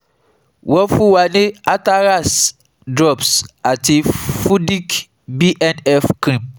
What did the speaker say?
Won fun wa ní Atarax drops ati Fudic BNF cream